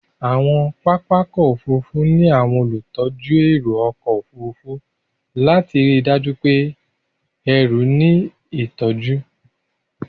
Àwọn pápá ọkọ̀ Òfurufú ní àwọn olùtọ́jú ẹrù ọkọ̀ Òfurufú lati ríi dájú pé ẹrù ní ìtọ́jú.